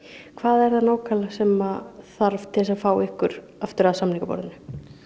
hvað er það nákvæmlega sem þarf til þess að fá ykkur aftur að samningaborðinu